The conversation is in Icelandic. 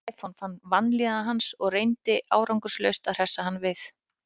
Stefán fann vanlíðan hans og reyndi árangurslaust að hressa hann við.